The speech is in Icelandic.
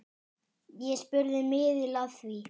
Ég spurði miðil að því.